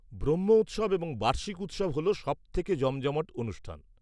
-ব্রহ্ম উৎসব এবং বার্ষিক উৎসব হল সবথেকে জমজমাট অনুষ্ঠান।